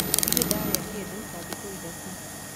Ndirĩ ndarĩa kĩndũ ta thikũ ithatũ